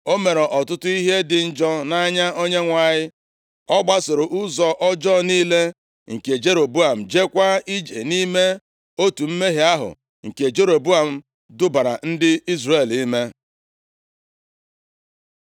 O mere ọtụtụ ihe dị njọ nʼanya Onyenwe anyị. Ọ gbasoro ụzọ ọjọọ niile nke Jeroboam, jeekwa ije nʼime otu mmehie ahụ nke Jeroboam dubara ndị Izrel ime.